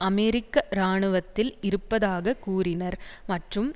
அமெரிக்க இராணுவத்தில் இருப்பதாக கூறினர் மற்றும்